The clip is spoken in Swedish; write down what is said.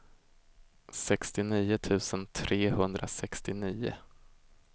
sextionio tusen trehundrasextionio